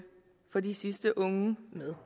få de sidste unge med